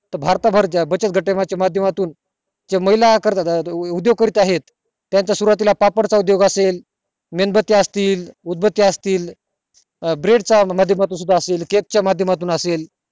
बचत गटा च्या माध्यमातून ज्या महिला करत आहे त्याचा सुरवातीला उदोग करीत आहे पापड चा उदोग असेल मेणबत्ती असतील उदबत्ती असतील अं bread च्या माध्य मातुन सुद्धा असतील cake च्या माध्य मातुन असेल